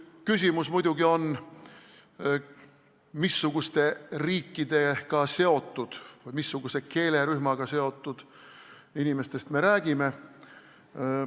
Küsimus on muidugi, missuguste riikidega seotud või missuguse keelerühmaga seotud inimestest me räägime.